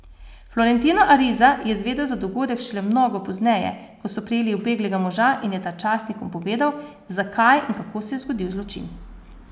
Florentino Ariza je zvedel za dogodek šele mnogo pozneje, ko so prijeli ubeglega moža in je ta časnikom povedal, zakaj in kako se je zgodil zločin.